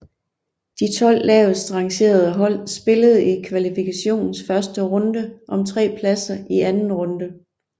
De 12 lavest rangerede hold spillede i kvalifikationens første runde om tre pladser i anden runde